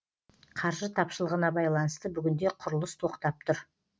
қаржы тапшылығына байланысты бүгінде құрылыс тоқтап тұр